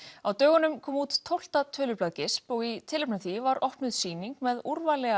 á dögunum kom út tólfta tölublað og í tilefni af því var opnuð sýning með úrvali